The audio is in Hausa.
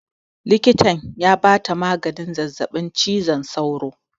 Likitan ya ba ta maganin zazzaɓin cizon sauro